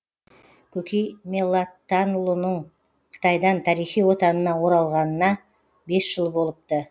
көкей меллаттанұлының қытайдан тарихи отанына оралғанына бес жыл болыпты